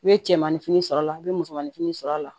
I bɛ cɛmanin fini sɔrɔ a la i bɛ musomanin fini sɔrɔ a la